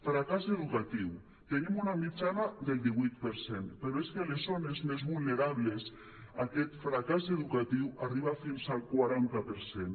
fracàs educatiu tenim una mitjana del divuit per cent però és que a les zones més vulnerables aquest fracàs educatiu arriba fins al quaranta per cent